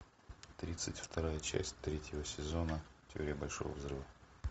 тридцать вторая часть третьего сезона теория большого взрыва